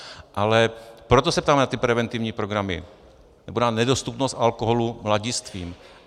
Ale proto se ptám na ty preventivní programy nebo na nedostupnost alkoholu mladistvým.